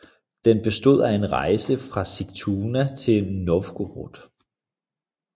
Den bestod af en rejse fra Sigtuna til Novgorod